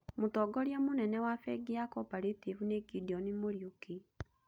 Mũtongoria mũnene wa bengi ya Cooperative nĩ Gideon Muriuki.